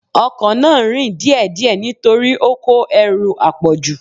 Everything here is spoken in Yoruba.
Ọkọ náà ń rìn díè díè nítorí ó kó ẹrù àpọ̀jù.